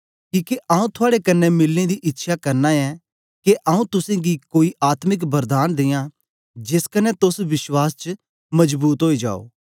किके आंऊँ थुआड़े कन्ने मिलने दी इच्छया करना ऐं गी के आंऊँ तुसेंगी कोई आत्मिक वरदान दियां जेस कन्ने तोस विश्वास च मजबूत ओई जाओ